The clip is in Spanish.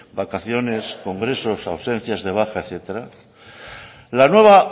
vacaciones congresos ausencias de baja etcétera la nueva